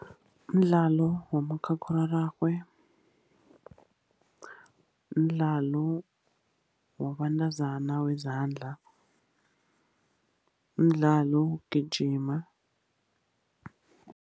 Mdlalo wakamakhakhulararhwe, mdlalo wabentazana wezandla, mdlalo wokugijima.